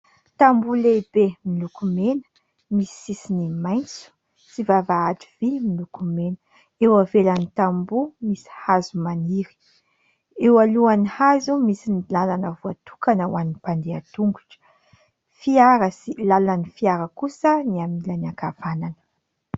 Tamboho lehibe miloko mena, misy sisiny maitso sy vavahady vy miloko mena ; eo ivelan'ny tamboho misy hazo maniry ; eo alohan'ny hazo misy ny lalana voatokana ho an'ny mpandeha tongotra. Fiara sy lalan'ny fiara kosa ny amin'ny ilany ankavanana.